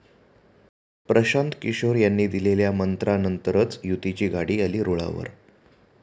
प्रशांत किशोर यांनी दिलेल्या 'मंत्रा'नंतरच युतीची गाडी आली रुळावर!